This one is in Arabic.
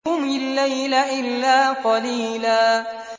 قُمِ اللَّيْلَ إِلَّا قَلِيلًا